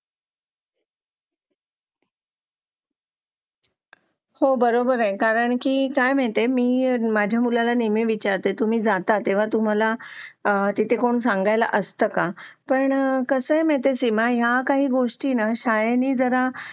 हो बरोबर आहे कारण की काय माहितीये का मी माझ्या मुलाला नेहमी विचारते तुम्ही जाता तेव्हा तुम्हाला ती तिथे कोणी सांगायला असतं का पण कसा आहे माहिती का सीमा ह्या काही गोष्टींना शाळेने जरा